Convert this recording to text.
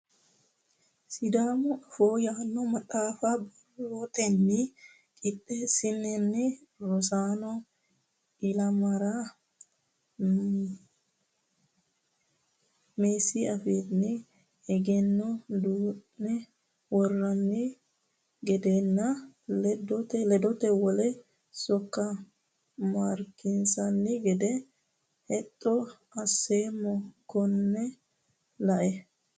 Sidaamu afoo yaano maxaafa borroteni qixxeesine rosano ilamara meessi afiini egenno duune woronni gedenna ledote wole sokka maarekkisiisonni gede hexxo assoommo kone lae.